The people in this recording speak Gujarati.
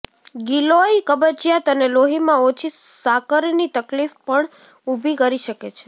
ગીલોય કબજિયાત અને લોહીમાં ઓછી સાકરની તકલીફ પણ ઉભી કરી શકે છે